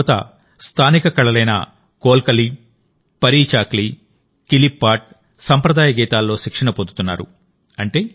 ఇక్కడ యువత స్థానిక కళలైన కోల్కలి పరీచాక్లి కిలిప్పాట్ట్ సంప్రదాయ గీతాల్లో శిక్షణ పొందుతున్నారు